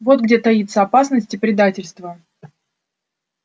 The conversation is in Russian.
вот где таится опасность и предательство